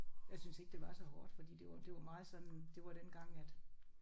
Jeg synes ikke det var så hårdt fordi det var det var meget sådan det var dengang at